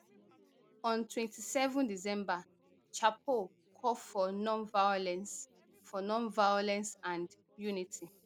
on twenty-seven december chapo call for nonviolence for nonviolence and unity